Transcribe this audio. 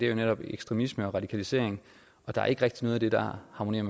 jo netop ekstremisme og radikalisering og der er ikke rigtig noget af det der harmonerer